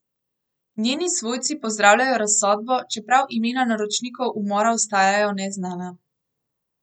Njeni svojci pozdravljajo razsodbo, čeprav imena naročnikov umora ostajajo neznana.